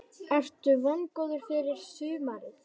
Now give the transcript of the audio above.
Ertu vongóður fyrir sumarið?